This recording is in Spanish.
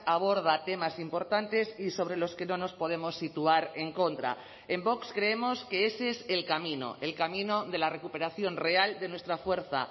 aborda temas importantes y sobre los que no nos podemos situar en contra en vox creemos que ese es el camino el camino de la recuperación real de nuestra fuerza